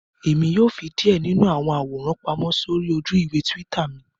Èmi yóò fí díè nínú àwọn àwòrán pàmò sórí ojú-ìwé twitter mí